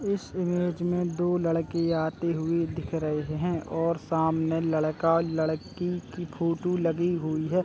इस इमेज में दो लड़के आते हुए दिख रहे हैं और सामने लड़का और लड़की की फोटो लगी हुई है ।